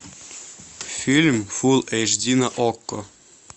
фильм фул эйч ди на окко